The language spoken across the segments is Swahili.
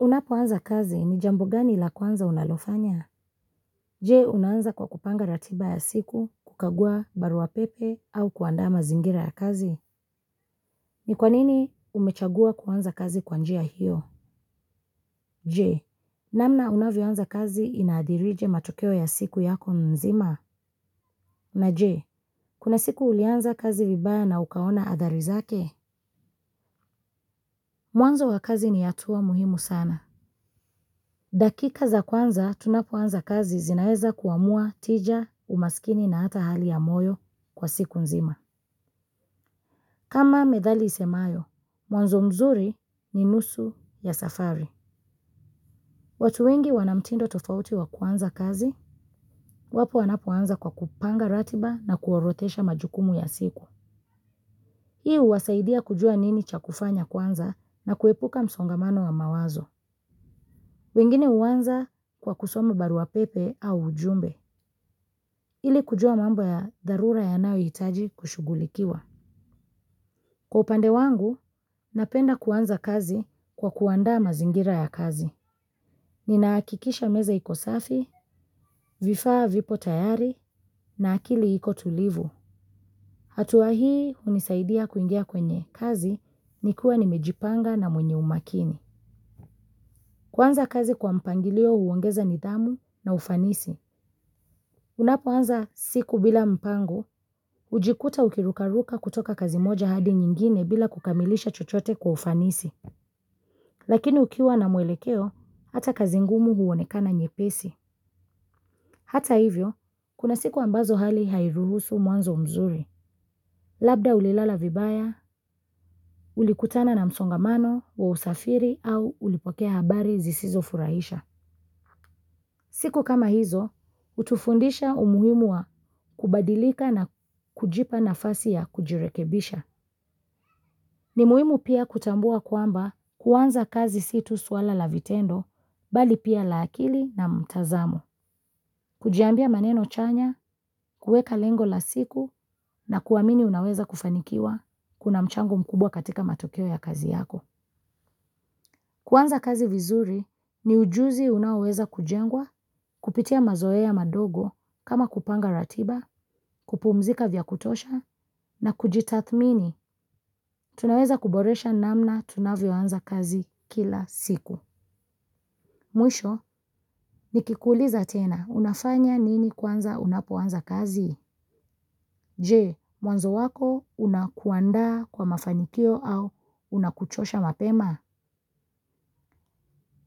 Unapoanza kazi ni jambo gani la kwanza unalofanya? Je, unaanza kwa kupanga ratiba ya siku, kukagua, barua pepe, au kuandaa mazingira ya kazi? Ni kwa nini umechagua kuanza kazi kwa njia hiyo? Je, namna unavyo anza kazi inaadhirije matokeo ya siku yako mzima? Na je, kuna siku ulianza kazi vibaya na ukaona adhari zake? Mwanzo wa kazi ni hatua muhimu sana. Dakika za kwanza tunapoanza kazi zinaeza kuamua tija, umasikini na hata hali ya moyo kwa siku nzima. Kama methali isemayo, mwanzo mzuri ni nusu ya safari. Watu wengi wana mtindo tofauti wa kuanza kazi, wapo wanapoanza kwa kupanga ratiba na kuorodhesha majukumu ya siku. Hii huwasaidia kujua nini cha kufanya kwanza na kuepuka msongamano wa mawazo. Wengine huanza kwa kusoma barua pepe au ujumbe. Ili kujua mambo ya dharura yanayohitaji kushugulikiwa. Kwa upande wangu, napenda kuanza kazi kwa kuandaa mazingira ya kazi. Ninahakikisha meza iko safi, vifaa vipo tayari na akili iko tulivu. Hatua hii hunisaidia kuingia kwenye kazi nikiwa nimejipanga na mwenye umakini. Kuanza kazi kwa mpangilio huongeza nidhamu na ufanisi. Unapoanza siku bila mpango, hujikuta ukirukaruka kutoka kazi moja hadi nyingine bila kukamilisha chochote kwa ufanisi. Lakini ukiwa na mwelekeo, hata kazi ngumu huonekana nyepesi. Hata hivyo, kuna siku ambazo hali hairuhusu mwanzo mzuri. Labda ulilala vibaya ulikutana na msongomano wa usafiri au ulipokea habari zisizofurahisha. Siku kama hizo, hutufundisha umuhimu wa kubadilika na kujipa nafasi ya kujirekebisha. Ni muhimu pia kutambua kwamba kuanza kazi si tu swala la vitendo, bali pia la akili na mtazamo. Kujiambia maneno chanya, kuweka lengo la siku na kuamini unaweza kufanikiwa kuna mchango mkubwa katika matokeo ya kazi yako. Kuanza kazi vizuri ni ujuzi unaoweza kujengwa, kupitia mazoea madogo, kama kupanga ratiba, kupumzika vya kutosha, na kujitathmini, tunaweza kuboresha namna tunavyo anza kazi kila siku. Mwisho nikikuuliza tena unafanya nini kwanza unapoanza kazi. Je, mwanzo wako unakuandaa kwa mafanikio au unakuchosha mapema?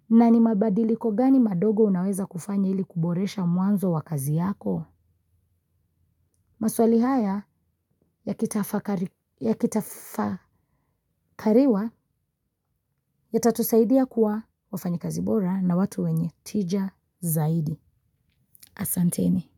Na ni mabadiliko gani madogo unaweza kufanya ili kuboresha mwanzo wa kazi yako? Maswali haya yakitafakariwa yatatusaidia kuwa wafanyikazi bora na watu wenye tija zaidi. Asanteni.